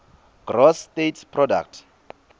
gross state product